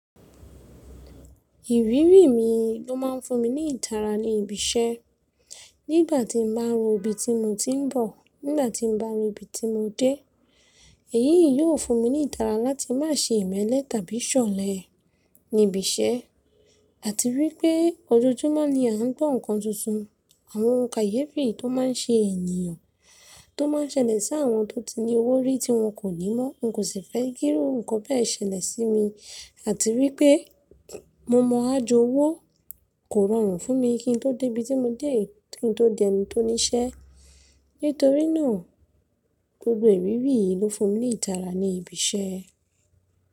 Ìrírí mi ló máa ń fún mi ní ìtára ní ibi iṣẹ́. Nígbà tí n bá ro ibi tí mo ti ń bọ̀, nígbà tí mo bá ro ibi tí mo dé, èyí yìí yóò fún mi ní ìtára láti má ṣe ìmẹ́lẹ́ tàbí ṣọ̀lẹ ní ibi iṣẹ́. Àti wípé ojoojúmọ́ ni a ń gbọ́ nnkan tuntun, àwọn òun kayefi tó máa ń ṣe ènìyàn tó máa ń ṣẹlẹ̀ sí àwọn tó ti ní owó rí tí wọ́n kò ní mọ́. N kò sì fẹ́ fé kiru nǹkan bẹ́ẹ̀ ṣẹlẹ̀ sí mi, àti wípé mo mọ ajo owó kò rọrùn fún mi kí n tó dé ibi tí mo dé, kí n tó dẹni tó ní iṣẹ́. Nítorí náà, gbogbo ìrírí yìí ló fún mi ní ìdára ní ibi iṣẹ́.